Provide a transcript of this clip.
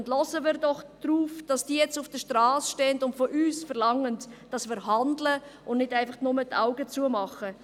Achten wir doch darauf, dass sie jetzt auf der Strasse stehen und von uns verlangen, dass wir handeln und nicht einfach nur die Augen schliessen.